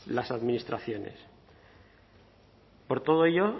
las administraciones por todo ello